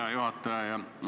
Hea juhataja!